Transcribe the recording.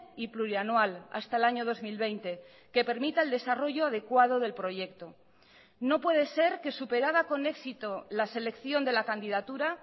y plurianual hasta el año dos mil veinte que permita el desarrollo adecuado del proyecto no puede ser que superada con éxito la selección de la candidatura